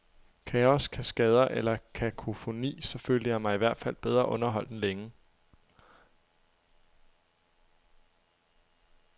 Kaos, kaskader eller kakofoni, så følte jeg mig ihvertfald bedre underholdt end længe.